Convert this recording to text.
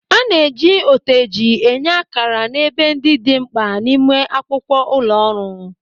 A na-eji oteji enye ákàrà n'ebe ndị dị mkpa n'ime akwụkwọ ụlọ ọrụ.